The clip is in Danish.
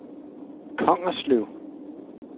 Kongerslev